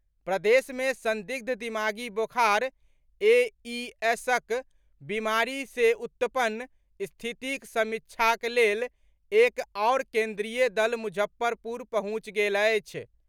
प्रदेश मे संदिग्ध दिमागी बोखार एईएसक बीमारी से उत्पन्न स्थितिक समीक्षाक लेल एक आओर केन्द्रीय दल मुजफ्फरपुर पहुंचि गेल अछि।